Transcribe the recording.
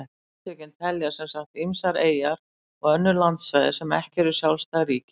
Samtökin telja sem sagt ýmsar eyjar og önnur landsvæði sem ekki eru sjálfstæð ríki með.